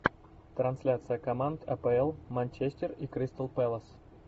трансляция команд апл манчестер и кристал пэлас